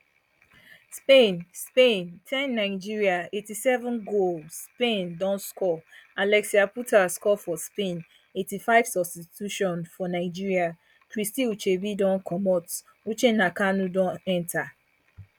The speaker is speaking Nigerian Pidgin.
spain spain ten nigeria eighty-seven goal spain don score alexia putella score for spain eighty-five substitution for nigeria christy ucheibe don comot uchenna kanu don enta